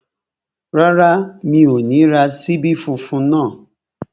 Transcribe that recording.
Rárá, mi ò ní ra ṣíbí funfun náà